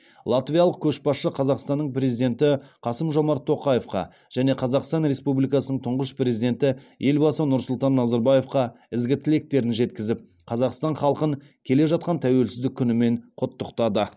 латвиялық көшбасшы қазақстанның президенті қасым жомарт тоқаевқа және қазақстан республикасының тұңғыш президенті елбасы нұрсұлтан назарбаевқа ізгі тілектерін жеткізіп қазақстан халқын келе жатқан тәуелсіздік күнімен құттықтады